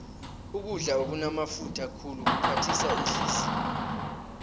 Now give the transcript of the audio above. ukudla okunamafutha khulu kuphathisa ihliziyo